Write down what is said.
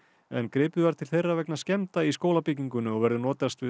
en gripið var til þeirra vegna skemmda í skólabyggingunni og verður notast við